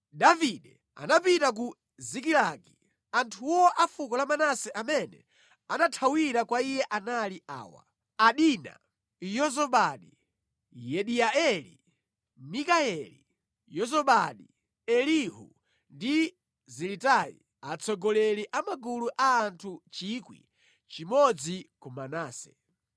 Davide atapita ku Zikilagi, anthu a fuko la Manase amene anathawira kwa iye anali awa: Adina, Yozabadi, Yediaeli, Mikayeli, Yozabadi, Elihu ndi Ziletai; atsogoleri a magulu a anthu 1,000 a ku Manase.